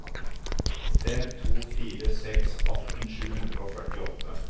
fem to fire seks atten sju hundre og førtiåtte